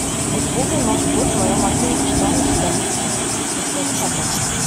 услуга новый год в моем отеле что она в себя включает расскажи подробно